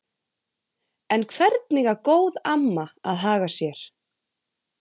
En hvernig á góð amma að haga sér?